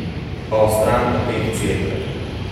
Pa o stranpoteh Cerkve.